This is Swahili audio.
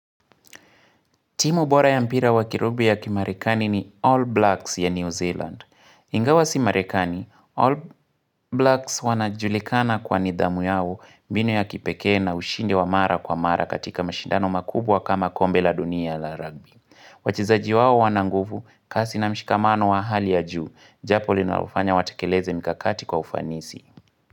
Timu bora ya mpira wakirubi ya kimarekani ni All Blacks ya New Zealand. Ingawa si merekani, All Blacks wanajulikana kwa nidhamu yao, mbinu ya kipekee na ushindi wa mara kwa mara katika mashindano makubwa kama kombe la dunia la rugby. Wachezaji wao wana nguvu, kasi na mshikamano wa hali ya juu. Japo linalofanya watekeleze mikakati kwa ufanisi.